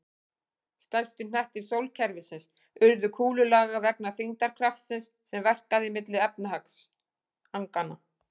Stærstu hnettir sólkerfisins urðu kúlulaga vegna þyngdarkraftsins sem verkaði milli efnisagnanna.